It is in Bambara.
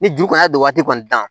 Ni juru kɔni y'a don waati kɔni na